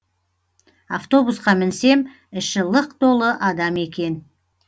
автобусқа мінсем іші лық толы адам екен